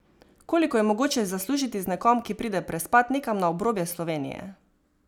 Koliko je mogoče zaslužiti z nekom, ki pride prespat nekam na obrobje Slovenije?